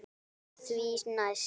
Saltið því næst.